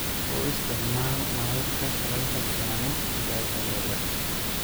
U isticmaal nalalka kulaylka keeno digaaga yaryar.